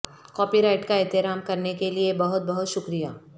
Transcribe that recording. copy right کا احترام کرنے کے لئے بہت بہت شکریہ